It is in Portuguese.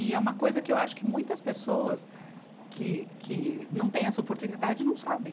E é uma coisa que eu acho que muitas pessoas que, que não têm essa oportunidade não sabem.